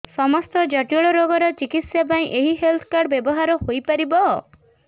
ସମସ୍ତ ଜଟିଳ ରୋଗର ଚିକିତ୍ସା ପାଇଁ ଏହି ହେଲ୍ଥ କାର୍ଡ ବ୍ୟବହାର ହୋଇପାରିବ